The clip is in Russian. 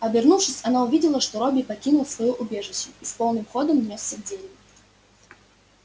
обернувшись она увидела что робби покинул своё убежище и с полным ходом нёсся к дереву